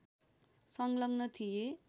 सङ्लग्न थिए